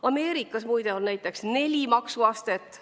Ameerikas, muide, on neli maksuastet.